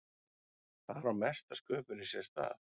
þar á mesta sköpunin sér stað